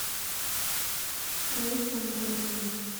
раисе анатольевне